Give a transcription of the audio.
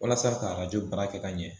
Walasa ka arajo baara kɛ ka ɲɛ